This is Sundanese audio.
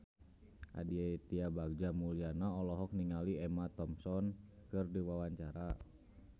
Aditya Bagja Mulyana olohok ningali Emma Thompson keur diwawancara